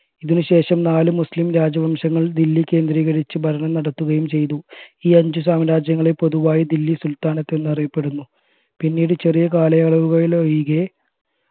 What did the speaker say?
ഇതിന് ശേഷം നാല് മുസ്ലിം രാജവംശങ്ങൾ ദില്ലി കേന്ദ്രീകരിച്ചു ഭരണം നടത്തുകയും ചെയ്തു ഈ അഞ്ചു സാമ്രാജ്യങ്ങളെ പൊതുവായി ദില്ലി സുൽത്താനത് എന്നറിയപ്പെടുന്നു പിന്നീട് ചെറിയ കലായലാവുകളിലൊഴികെ